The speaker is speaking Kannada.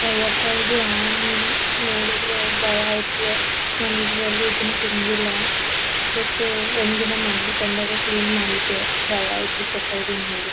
ಅಯ್ಯಪ್ಪ ಇದು ಹಾವ್ ಮೀನು ನೋಡಿದ್ರೆ ಭಯ ಆಯ್ತದೆ ನಾನು ಇದುವರೆಗೂ ಇದನ್ನ ತಿಂದಿಲ್ಲ ಬಟ್ ಒಂದಿನ ಮನೆಯಲ್ಲಿ ತಂದಾಗ ಕ್ಲೀನ್ ಮಾಡಿದ್ದೆ ಭಯ ಆಯ್ತಪ್ಪ ಇದನ್ನ ನೋಡಿ.